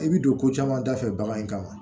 I bi don ko caman da fɛ bagan in kama